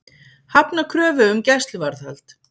Hafna kröfu um gæsluvarðhald